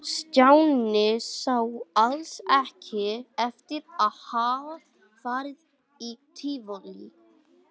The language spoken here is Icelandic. Stjáni sá alls ekki eftir að hafa farið í Tívolí.